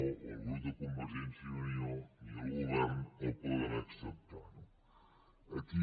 o ni el grup de convergència i unió ni el govern el poden acceptar no aquí